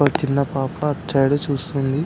ఒక చిన్న పాపా అటుసైడే చూస్తుంది